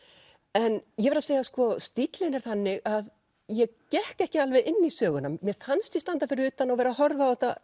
en ég verð að segja að stíllinn er þannig að ég gekk ekki alveg inn í söguna mér fannst ég standa fyrir utan og vera að horfa á þetta